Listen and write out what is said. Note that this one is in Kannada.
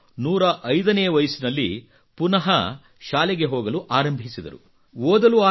ಅವರು 105 ನೇ ವಯಸ್ಸಿನಲ್ಲಿ ಪುನಃ ಶಾಲೆಗೆ ಹೋಗಲು ಆರಂಭಿಸಿದರು